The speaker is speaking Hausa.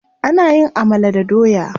Ana yin amala da doya.